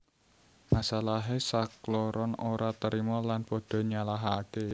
Masalahé sakloron ora terima lan pada nyalahaké